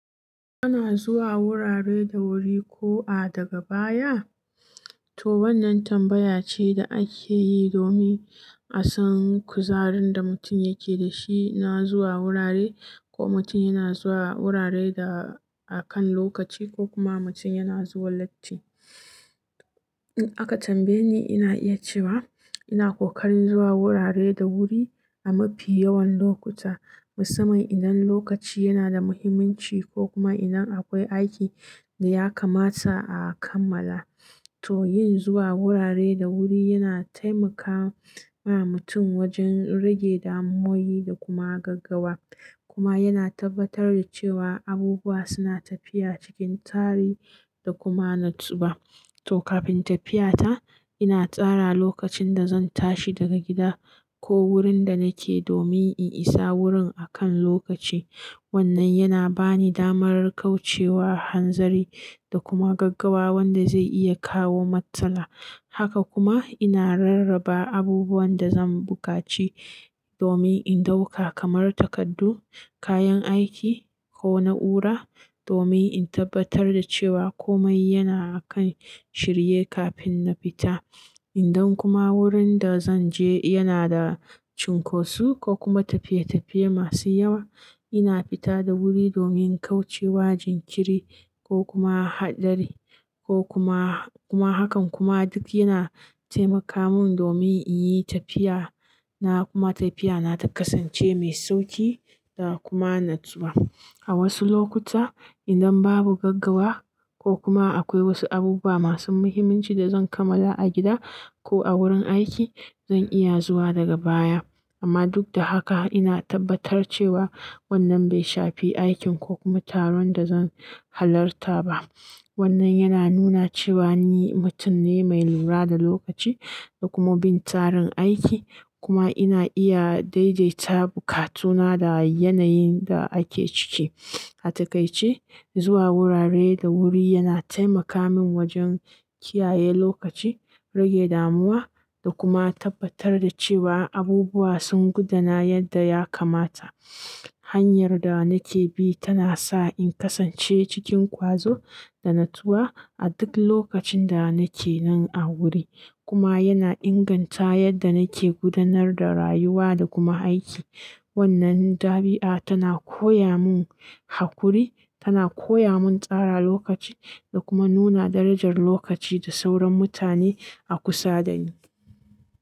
Ana zuwa wurare da wuri ko a daga baya? To wannan tambaya ce da ake yi domin a san kuzarin da mutum yake da shi na zuwa wurare ko mutum yana zuwa wurare da akan lokaci ko kuma mutum yana zuwa latti. Aka tambaye ni, ina iya cewa ina kokarin zuwa wurare da wuri a mafi yawan lokuta, musamman idan lokaci yana da muhimmanci ko kuma idan akwai aiki da ya kamata a kammala. To yin zuwa wurare da wuri yana taimaka wa mutum wajen rage damuwoyi da kuma gaggawa kuma yana tabbatar da cewa abubuwa suna tafiya cikin tari da kuma natsuwa. To kafin tafiyata ina tsara lokacin da zan tashi daga gida ko wurin da nake domin in isa wurin akan lokaci. Wannan yana bani damar kauce wa hanzari da kuma gaggawa wanda zai iya kawo matsala. Haka kuma ina rarraba abubuwan da zan bukaci domin in ɗauka kamar takardu, kayan aiki ko na'ura domin in tabbatar da cewa komai yana a kan shirye kafin na fita. Idan kuma wurin da zanje yana da cunkosu ko kuma tafiye-tafiye masu yawa, ina fita da wuri domin kauce wa jinkiri ko kuma haɗari ko kuma, kuma hakan kuma duk yana taimaka mun domin in yi tafiya na kuma tafiya na ta kasance mai sauƙi da kuma natsuwa. A wasu lokuta idan babu gaggawa ko kuma akwai wasu abubuwa masu muhimmanci da zan kammala a gida ko a wurin aiki, zan iya zuwa daga baya. Amma duk da haka ina tabbatar cewa wannan bai shafi aikin ko kuma taron da zan halarta ba. Wannan yana nuna cewa ni mutum ne mai lura da lokaci da kuma bin tsarin aiki kuma ina iya daidaita bukatuna da yanayin da ake ciki. A taƙaice, zuwa wurare da wuri yana taimaka min wajen kiyaye lokaci, rage damuwa da kuma tabbatar da cewa abubuwa sun gudana yadda ya kamata. Hanyar da nake bi tana sa in kasance cikin ƙwazo da natsuwa a duk lokacin da nake nan a wuri kuma yana inganta yadda nake gudanar da rayuwa da kuma aiki. Wannan ɗabi'a tana koya mun haƙuri, tana koya mun tsara lokaci da kuma nuna darajar lokaci da sauran mutane a kusa da ni.